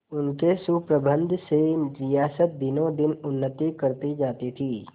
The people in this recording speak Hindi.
उनके सुप्रबंध से रियासत दिनोंदिन उन्नति करती जाती थी